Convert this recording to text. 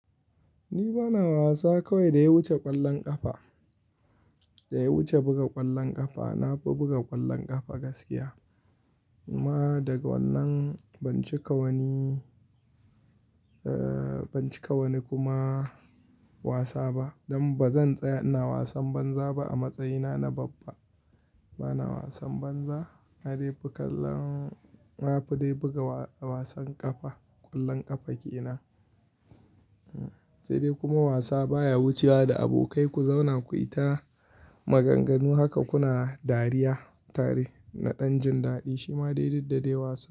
Ni bana wasa kawai da ya wuce ƙwallon ƙafa, da ya wuce buga ƙwallon ƙafa. Na fi buga ƙwallon ƙafa gaskiya. Kuma daga wannan ban cika wani, ban cika wani kuma wasa ba. Don ba zan tsaya ina wasan banza ba a matsayina na babba. Bana wasan banza. Na dai fi kallo, na fi dai buga wasan ƙafa, ƙwallon ƙafa ke ina. Sai dai kuma wasa baya wucewa da abokai ku zauna ku yi ta maganganu haka kuna dariya tare na ɗan jin daɗi. Shi ma dai duk dai wasa.